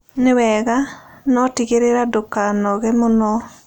Nĩ wega. No tigĩrĩra ndũkanogĩ mũno.